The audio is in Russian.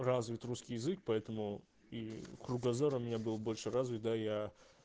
развит русский язык поэтому и кругозором я был больше развит да я